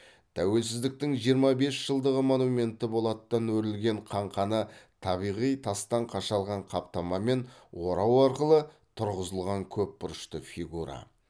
тәуелсіздіктің жиырма бес жылдығы монументі болаттан өрілген қаңқаны табиғи тастан қашалған қаптамамен орау арқылы тұрғызылған көпбұрышты фигура